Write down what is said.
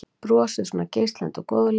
Brosið svona geislandi og góðlegt?